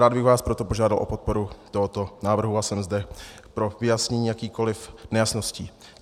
Rád bych vás proto požádal o podporu tohoto návrhu a jsem zde pro vyjasnění jakýchkoli nejasností.